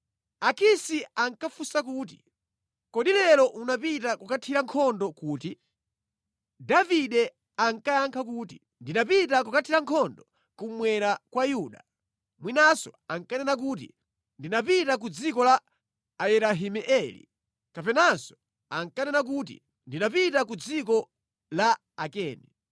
Akisi akafunsa kuti, “Kodi lero unapita kukathira nkhondo kuti?” Davide ankayankha kuti, “Ndinapita kukathira nkhondo kummwera kwa Yuda,” mwinanso ankanena kuti, “Ndinapita ku dziko la Ayerahimeeli” kapenanso ankanena kuti, “Ndinapita ku dziko la Akeni.”